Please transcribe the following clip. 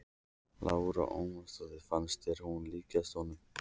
Lára Ómarsdóttir: Fannst þér hún líkjast honum?